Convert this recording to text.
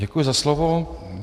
Děkuji za slovo.